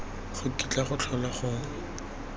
go kitla go tlhola go